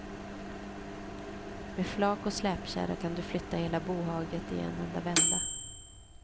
Med flak och släpkärra kan du flytta hela bohaget i en enda vända.